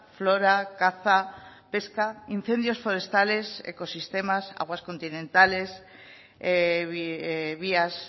flora caza pesca incendios forestales ecosistemas aguas continentales vías